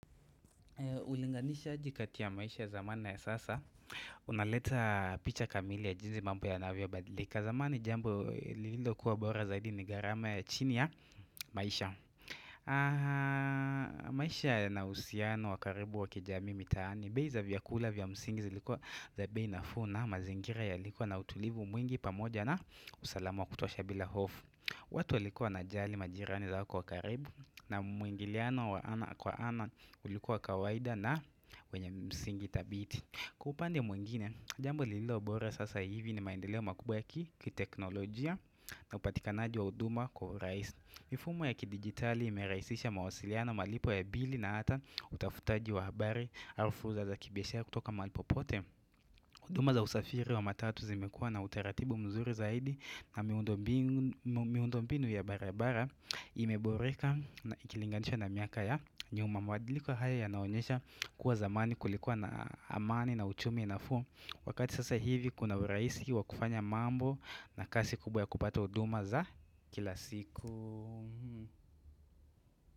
Ulinganisha jikati ya maisha zamani na ya sasa, unaleta picha kamili ya jinzi mambo ya navyo badlika zamani jambo lililo kuwa bora zaidi ni garama ya chini ya maisha maisha na usiano wakaribu wakijami mitaani bei za vya kula vya msingi zilikuwa za bei nafuu na mazingira ya likuwa na utulivu mwingi pamoja na usalama wa kutosha bila hofu maisha na usiano wakaribu wakijamii mitaani bei za vya kula vya msingi zilikuwa za bei nafuu na mazingira ya likuwa na utulivu mwingi pamoja na usalama wa kutosha bila hofu watu walikuwa na jali majirani zao kwa karibu na mwingiliano wa ana kwa ana ulikuwa kawaida na wenye msingi tabiti. Mifumo ya ki digitali imeraisisha mawasiliano malipo ya bili na hata utafutaji wa habari arufuza za kibyesha kutoka mahalipopote. Uduma za usafiri wa matatu zimekuwa na utaratibu mzuri zaidi na miundo mbinu ya barabara ime boreka na ikilinganisha na miaka ya nyuma mabadiliko haya ya naonyesha kuwa zamani kulikuwa na amani na uchumi na fuu Wakati sasa hivi kuna uraisi wa kufanya mambo na kasi kubwa ya kupata uduma za kila siku.